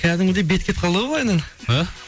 кәдімгідей бет кетіп қалды ғой былайынан иә